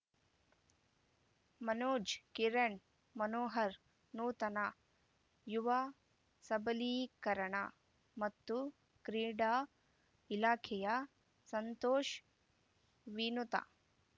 ಮನೋಜ್‌ ಕಿರಣ್‌ ಮನೋಹರ ನೂತನ ಯುವ ಸಬಲೀಕರಣ ಮತ್ತು ಕ್ರೀಡಾ ಇಲಾಖೆಯ ಸಂತೋಷ್‌ ವಿನುತಾ